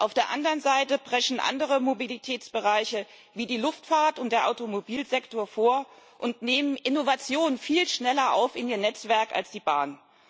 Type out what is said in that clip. Auf der anderen Seite preschen andere Mobilitätsbereiche wie die Luftfahrt und der Automobilsektor vor und nehmen Innovation viel schneller in ihr Netzwerk auf als die Bahn.